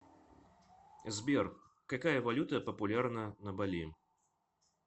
сбер какая валюта популярна на бали